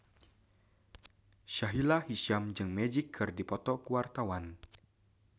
Sahila Hisyam jeung Magic keur dipoto ku wartawan